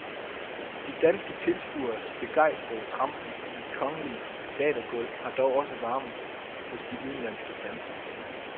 De danske tilskueres begejstrede trampen i det kongelige teatergulv har dog også varmet hos de udenlandske dansere.